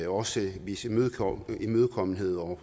også vise imødekommenhed over